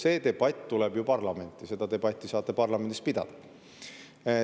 See debatt tuleb ju parlamenti, seda debatti saate parlamendis pidada.